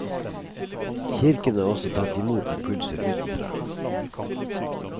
Kirken har også tatt imot impulser utenfra.